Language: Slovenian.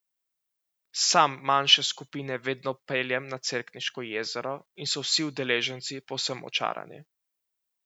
Sam manjše skupine vedno peljem na Cerkniško jezero in so vsi udeleženci povsem očarani.